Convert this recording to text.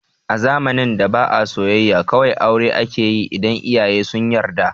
A zamanin da ba a soyayya, kawai aure akeyi idan iyaye sun yarda